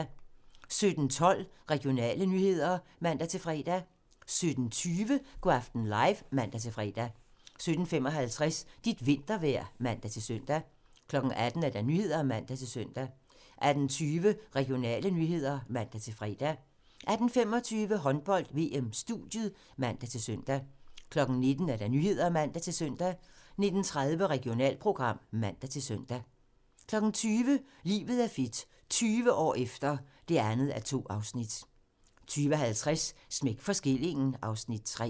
17:12: Regionale nyheder (man-fre) 17:20: Go' aften live (man-fre) 17:55: Dit vintervejr (man-søn) 18:00: Nyhederne (man-søn) 18:20: Regionale nyheder (man-fre) 18:25: Håndbold: VM - studiet (man-søn) 19:00: Nyhederne (man-søn) 19:30: Regionalprogram (man-søn) 20:00: Livet er fedt - 20 år efter (2:2) 20:50: Smæk for skillingen (Afs. 3)